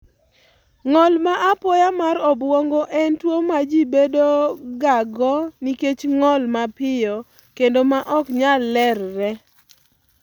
Ng'ol ma apoya mar obwongo en tuwo ma ji bedogago nikech ng'ol mapiyo kendo ma ok nyal lerre.